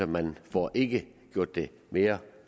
man får ikke gjort det mere